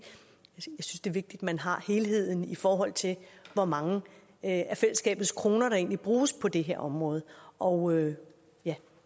er vigtigt man har helheden i forhold til hvor mange af fællesskabets kroner der egentlig bruges på det her område område ja